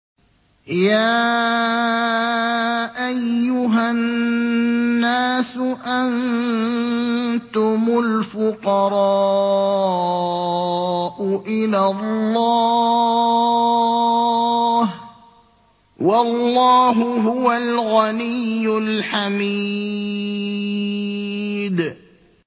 ۞ يَا أَيُّهَا النَّاسُ أَنتُمُ الْفُقَرَاءُ إِلَى اللَّهِ ۖ وَاللَّهُ هُوَ الْغَنِيُّ الْحَمِيدُ